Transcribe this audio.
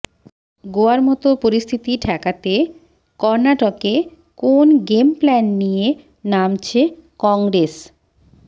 গোয়ার মত পরিস্থিতি ঠেকাতে কর্ণাটকে কোন গেমপ্ল্যান নিয়ে নামছে কংগ্রেস